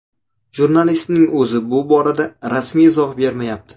Jurnalistning o‘zi bu borada rasmiy izoh bermayapti.